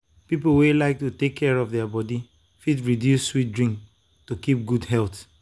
people wey like to take care of their body fit reduce sweet drink to keep good health.